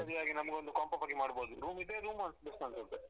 ಅದಕ್ಕೆ ಸರಿಯಾಗಿ ನಂಗೊಂದು comp off ಆಗಿ ಮಾಡ್ಬೋದು room ಇದ್ರೆ room best ಅನ್ಸುತ್ತೆ.